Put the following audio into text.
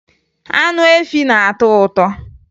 Anụ efi na-atọ ụtọ